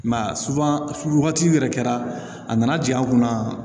I m'a ye wagati yɛrɛ kɛra a nana ja an kunna